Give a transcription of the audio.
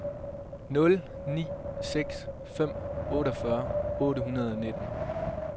nul ni seks fem otteogfyrre otte hundrede og nitten